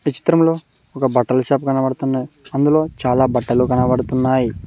ఈ చిత్రంలో ఒక బట్టల షాప్ కనబడుతున్నాయి అందులో చాలా బట్టలు కనపడుతున్నాయి.